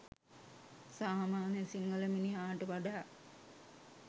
සාමාන්‍ය සිංහල මිනිහාට වඩා